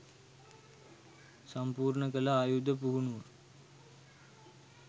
සම්පූර්ණ කළ ආයුධ පුහුණුව